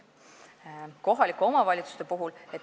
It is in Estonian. Kohalikud omavalitsused.